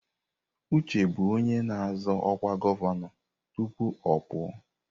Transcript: Uche bụ onye na-azọ ọkwa gọvanọ tupu ọ pụọ.